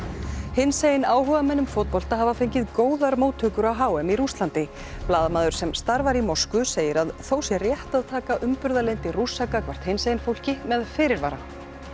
hinsegin áhugamenn um fótbolta hafa fengið góðar móttökur á h m í Rússlandi blaðamaður sem starfar í Moskvu segir að þó sé rétt að taka umburðarlyndi Rússa gagnvart hinsegin fólki með fyrirvara